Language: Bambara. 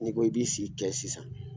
N'i ko i k'i si kɛ sisan